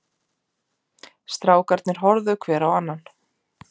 Strákarnir horfðu hver á annan.